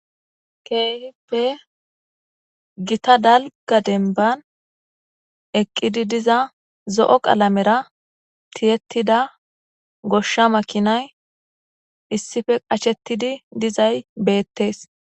ke'ihippe gitta dalgga denban eqqidi diza zo'o qalamera tiyettida goshsha makinay issife qachettidi dizay beettees